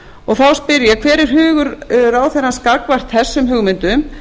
og þá spyr ég hver er hugur ráðherrans gagnvart þessum hugmyndum